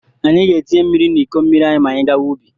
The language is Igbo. Anyị ga-etinye mmiri n'iko mmiri anyị ma anyị gawa ubi.